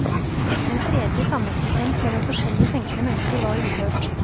En fredelig sameksistens mellom forskjellig tenkende mennesker var uhørt.